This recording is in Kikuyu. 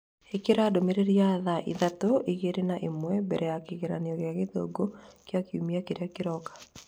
ĩkira ndũmĩrĩri ya thaa ithatũ igĩrĩ na ĩmwe mbere ya kĩgeranio kĩa gĩthũngũ kĩa kiumia kĩrĩa kĩroka.